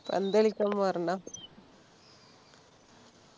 പന്ത് കളിയ്ക്കാൻ പോകാറുണ്ടോ